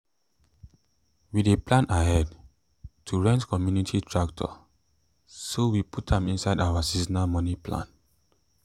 we dey plan ahead to rent community tractor so we put am inside our seasonal money plan.